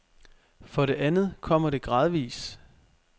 For det andet kommer det gradvis.